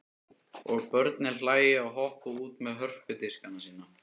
Og börnin hlæja og hoppa út með hörpudiskana sína.